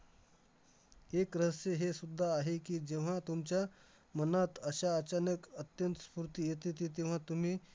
एक रहस्य हेसुद्धा आहे की, जेव्हा तुमच्या मनात अश्या अचानक अत्यंत स्फूर्ती येतेते, तेव्हा तुम्ही